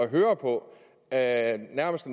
høre på at man nærmest